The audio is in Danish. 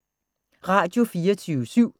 Radio24syv